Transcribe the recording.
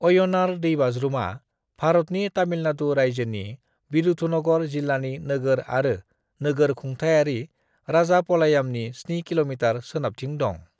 अय्यनार दैबाज्रुमा भारतनि तामिलनाडु रायजोनि विरुधुनगर जिल्लानि नोगोर आरो नोगोर खुंथायारि राजापलायामनि 7 किमी सोनाबथिं दं।